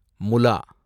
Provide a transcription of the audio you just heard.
Mula